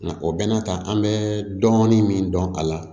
Nka o bɛn'a ta an bɛ dɔɔnin min dɔn a la